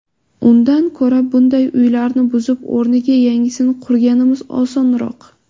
Undan ko‘ra bunday uylarni buzib o‘rniga yangisini qurganimiz osonroq.